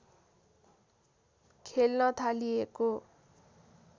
खेल्न थालिएको